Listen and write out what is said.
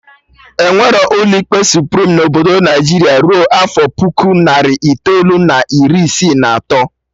Enwerọ ụlọ ikpe Suprim na Obodo Naijiria rue afọ puku narị itoolu na iri isii na atọ